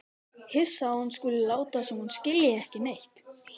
Hissa að hún skuli láta sem hún skilji ekki neitt.